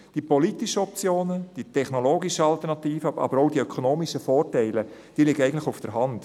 Die politischen Optionen, die technologischen Alternativen, aber auch die ökonomischen Vorteile – diese liegen eigentlich auf der Hand.